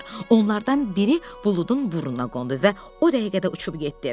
Onlardan biri buludun burnuna qondu və o dəqiqədə uçub getdi.